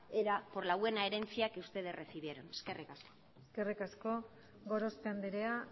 era por la buena herencia que ustedes recibieron eskerrik asko eskerrik asko gorospe andrea